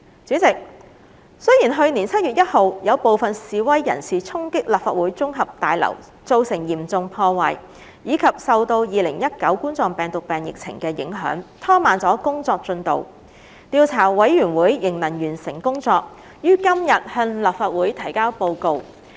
主席，雖然去年7月1日有部分示威人士衝擊立法會綜合大樓造成嚴重破壞，以及受到2019冠狀病毒病疫情的影響，拖慢了工作進度，調查委員會仍能完成工作，於今天向立法會提交報告。